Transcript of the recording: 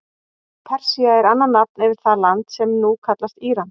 Persía er annað nafn yfir það land sem nú kallast Íran.